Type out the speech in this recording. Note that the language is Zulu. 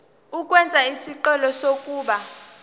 ukwenza isicelo sokuba